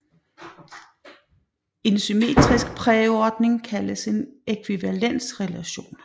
En symmetrisk præordning kaldes en ækvivalensrelation